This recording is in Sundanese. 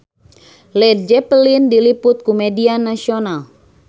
Led Zeppelin diliput ku media nasional